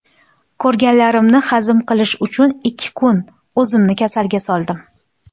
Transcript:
Ko‘rganlarimni hazm qilish uchun ikki kun o‘zimni kasalga soldim.